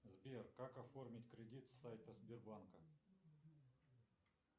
сбер как оформить кредит с сайта сбербанка